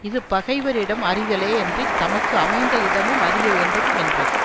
இது பகைவரிடம் அறிதலே யன்றி தமக்கு அமைந்த இடமும் அறிய வேண்டுமென்றது